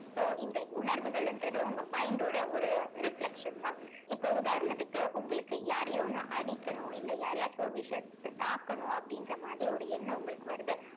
so இந்த உணர்வுகள்ன்றது உங்க mind ஓட ஒரு reflection தான் இப்போ உதாரணத்துக்கு உங்களுக்கு யாரையும் நான் அடிக்கணும் இல்ல யாராச்சும் ஒரு விஷயத்த தாக்கணும் அப்படின்ற மாதிரி ஒரு எண்ணம் உங்களுக்கு வருது